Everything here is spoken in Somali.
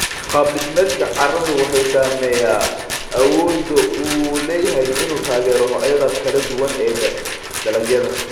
Qaab dhismeedka carradu wuxuu saameeyaa awoodda uu u leeyahay inuu taageero noocyada kala duwan ee dalagyada.